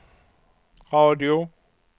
radio